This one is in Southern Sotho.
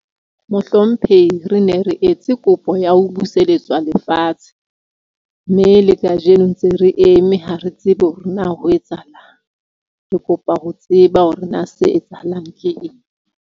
Mohlomphehi re ne re etse kopo ya ho buseletswa lefatshe mme le kajeno ntse re eme. Ha re tsebe hore na ho etsahalang. Re kopa ho tseba hore na se etsahalang ke eng.